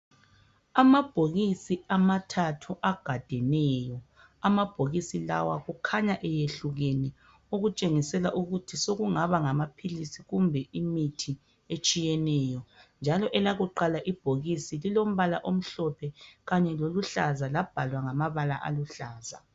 Amabhokisi amathathu agadeneyo amabhokisi lawa kukhanya eyehlukene okuntshengisela ukuthi sekungaba ngamaphilisi kumbe imithi etshiyeneyo njalo elakuqala ibhokisi lilombala omhlophe kanye loluhlaza labhalwa ngama bala aluhlaza